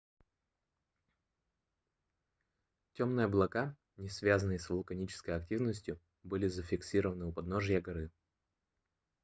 темные облака не связанные с вулканической активностью были зафиксированы у подножия горы